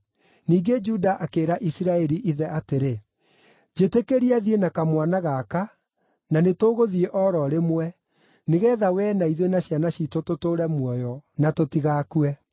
Ningĩ Juda akĩĩra Isiraeli ithe atĩrĩ, “Njĩtĩkĩria thiĩ na kamwana gaka, na nĩtũgũthiĩ o ro rĩmwe, nĩgeetha wee na ithuĩ na ciana ciitũ tũtũũre muoyo, na tũtigakue.